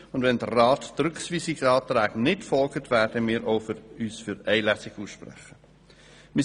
Sollte der Rat den Rückweisungsanträgen nicht folgen, werden wir uns auch für eine Lesung aussprechen.